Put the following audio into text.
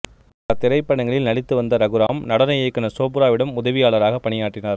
பல திரைப்படங்களில் நடித்துவந்த ரகுராம் நடன இயக்குநர் சோப்ராவிடம் உதவியாளராக பணியாற்றினார்